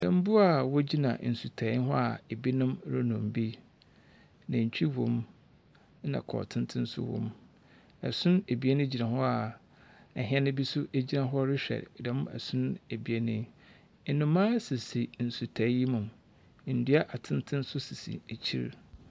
Mmoa ɔgyina nsutaɛ ho a ebi nom renom bi. Nantwi wom ɛna ɛkɔn tenten nso wo mu. Ɛson ebien bi gyina hɔ a ɛhɛn bi nso gyina hɔ rewhɛ dɛm ɛsono ebiɛn yi. Nnomaa sisi nsutae yi mu . Nnua atenten nso sisi ɛkyire.